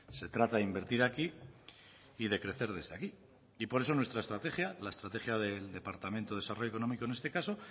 se trata de invertir aquí y de crecer desde aquí y por eso nuestra estrategia la estrategia del departamento de desarrollo económico en este caso